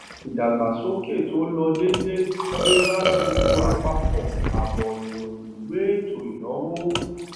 ìdàgbàsókè tó lọ déédéé dé bá gbogbo àpapọ àbọ ìròyìn ìwé ètò ìnáwó